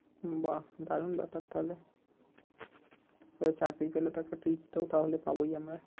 হম বাহঃ দারুন ব্যাপার তাহলে তালে চাকরি পেলে তো একটা treat তো তাহলে পাবোই আমরা